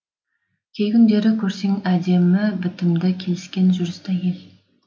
кей күндері көрсең әдемі бітімді келіскен жүрісті әйел